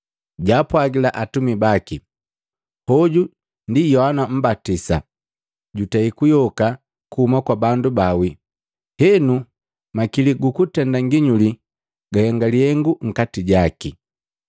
Jaapwagila atumi baki, “Hoju Yohana Mmbatisa, jutei kuyoka kuhuma kwa bandu baawii. Henu makili gukutenda nginyuli gahenga lihengu nkati jaki.”